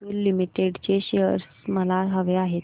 Atul limited चे शेअर्स मला हवे आहेत